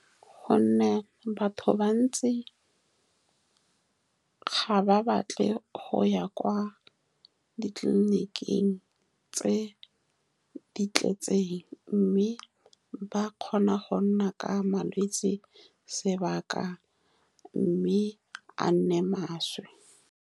Ka gonne batho bantsi ga ba batle go ya kwa ditleliniking tse di tletseng, mme ba kgona go nna ka malwetsi sebaka, mme a nne maswe.